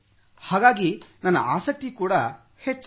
ಹಾಗಾಗಿ ನನ್ನ ಆಸಕ್ತಿಯೂ ಹೆಚ್ಚಾಯಿತು